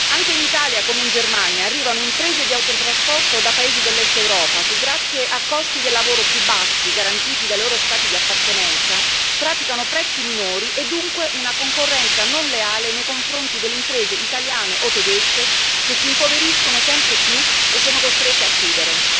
Anche in Italia, come in Germania, arrivano imprese di autotrasporto da paesi dell'Est Europa che grazie a costi del lavoro più bassi, garantiti dai loro Stati di appartenenza, praticano prezzi minori e dunque una concorrenza non leale nei confronti delle imprese italiane o tedesche, che si impoveriscono sempre più e sono costrette a chiudere.